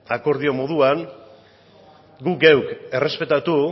akordio moduan guk geuk errespetatu